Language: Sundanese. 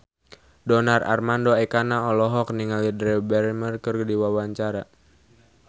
Donar Armando Ekana olohok ningali Drew Barrymore keur diwawancara